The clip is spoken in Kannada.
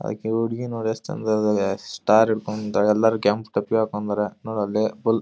ಆಕಿ ಹುಡುಗಿ ನೋಡ್ ಎಸ್ಟ್ ಚಂದಗ ಇದಾಳ. ಸ್ಟಾರ್ ಹಿಡ್ಕೊಂಡ್ ನಿಂಥಾಲ್. ಎಲ್ಲರು ಕೆಂಪ್ ಟೊಪಿಗಿ ಹಾಕೊಂಡಾರ. ನೋಡ್ ಅಲ್ಲಿ ಬುಲ್--